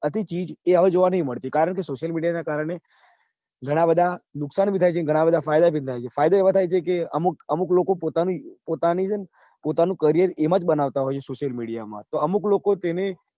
હતી ચીજ જે હવે જોવા નઈ મળતી કારણ કે social media નાં કારણે ઘણાં બધા નુકસાન પણ થાય છે ઘણાં બધા ફાયદા પણ થાય છે ફાયદા એવા થાય છે કે અમુક લોકો પોતાની પોતાની છે ને પોતાનું career એમાં જ બનાવતા social media મા તો અમુક લોકો તેને